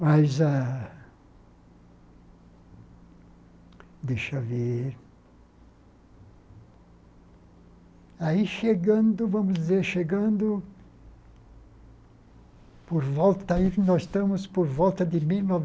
Mas ah... Deixa eu ver... Aí chegando, vamos dizer, chegando... Por volta aí, nós estamos por volta de mil e